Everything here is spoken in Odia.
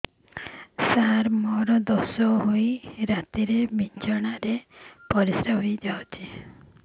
ସାର ମୋର ଦୋଷ ହୋଇ ରାତିରେ ବିଛଣାରେ ପରିସ୍ରା ହୋଇ ଯାଉଛି